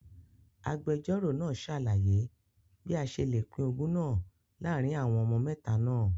Agbẹjọro naa ṣalaye bi a ṣe le pin ogún naa laarin awọn ọmọ mẹta naa